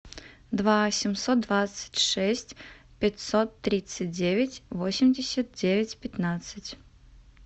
два семьсот двадцать шесть пятьсот тридцать девять восемьдесят девять пятнадцать